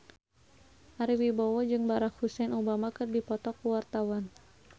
Ari Wibowo jeung Barack Hussein Obama keur dipoto ku wartawan